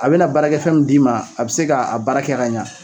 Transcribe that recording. A bena baarakɛfɛn min d'i ma a be se k'a baara kɛ ka ɲa